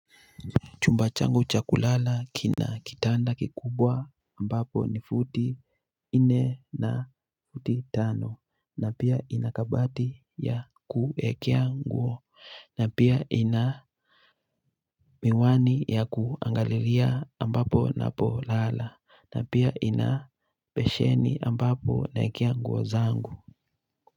Chumba changu cha kulala kina kitanda kikubwa ambapo ni futi nne na futi tano na pia ina kabati ya kuekea nguo na pia ina miwani ya kuangalilia ambapo ninapolala na pia ina besheni ambapo naekea nguo zangu.